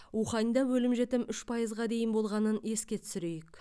уханьда өлім жітім үш пайызға дейін болғанын еске түсірейік